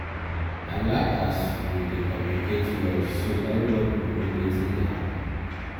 i like as we dey communicate well so everybodi go know wetin dey happen.